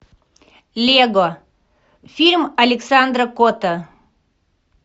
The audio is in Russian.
лего фильм александра котта